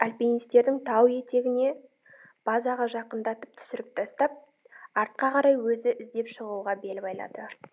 альпинистерін тау етегіне базаға жақындатып түсіріп тастап артқа қарай өзі іздеп шығуға бел байлады